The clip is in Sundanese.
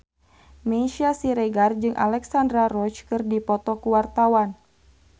Meisya Siregar jeung Alexandra Roach keur dipoto ku wartawan